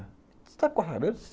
Você sabe cortar cabelo?